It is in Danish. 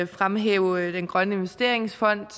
fremhæve danmarks grønne investeringsfond